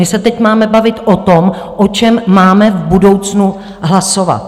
My se teď máme bavit o tom, o čem máme v budoucnu hlasovat.